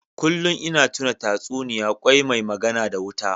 Kullun ina tuna tatsuniya Kwai mai magana da wuta.